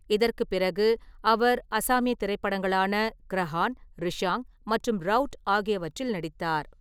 இதற்குப் பிறகு, அவர் அசாமிய திரைப்படங்களான கிரஹான், ரிஷாங் மற்றும் ரௌட் ஆகியவற்றில் நடித்தார்.